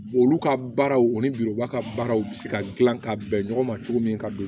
Olu ka baaraw ani biba ka baaraw bɛ se ka dilan ka bɛn ɲɔgɔn ma cogo min ka don